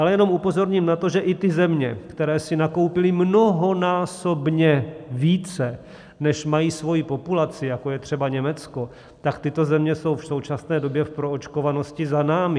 Ale jenom upozorním na to, že i ty země, které si nakoupily mnohonásobně více, než mají svoji populaci, jako je třeba Německo, tak tyto země jsou v současné době v proočkovanosti za námi.